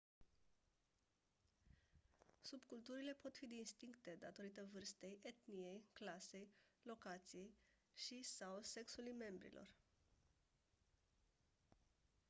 subculturile pot fi distincte datorită vârstei etniei clasei locației și/sau sexului membrilor